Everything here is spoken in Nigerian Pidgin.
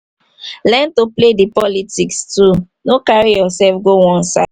learn to play di politics too no carry yourself go one side